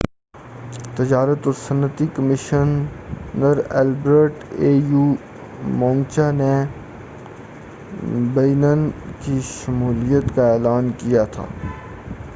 au تجارت اور صنعتی کمیشنر البرٹ موچانگا نے بینن کی شمولیت کا اعلان کیا تھا